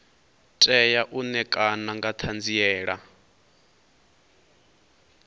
tea u ṋekana nga ṱhanziela